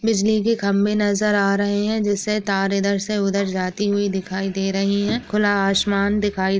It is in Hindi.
बिजली के खंबे में नजर आ रहे हैं जिसे तार इधर से उधर जाते हुई दिखाई दे रही हैं खुला आसमान दिखाई --